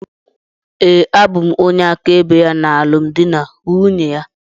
Ee, abụ m onye áká ebe ya na alụmdi na nwunye ya.